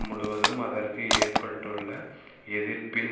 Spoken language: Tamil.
முழுவதும் அதற்கு ஏற்பட்டுள்ள எதிர்ப்பின்